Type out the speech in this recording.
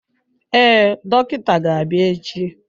Ee, dọkịta ga-abịa echi.